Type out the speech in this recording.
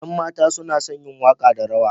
Ƴan mata suna son yin waƙa da rawa.